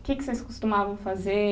O que que vocês costumavam fazer?